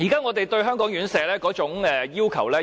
我十分現實，已經降低對香港院舍的要求。